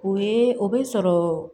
O ye o be sɔrɔ